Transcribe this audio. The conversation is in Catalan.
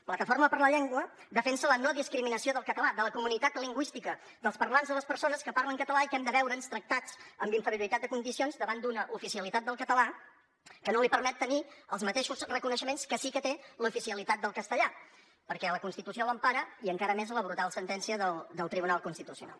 plataforma per la llengua defensa la no discriminació del català de la comunitat lingüística dels parlants de les persones que parlen català i que hem de veure’ns tractats amb inferioritat de condicions davant d’una oficialitat del català que no li permet tenir els mateixos reconeixements que sí que té l’oficialitat del castellà perquè la constitució l’empara i encara més la brutal sentència del tribunal constitucional